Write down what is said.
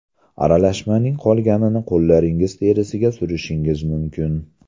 Aralashmaning qolganini qo‘llaringiz terisiga surishingiz mumkin.